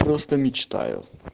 просто мечтаю